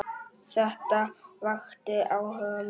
Þetta vakti áhuga minn.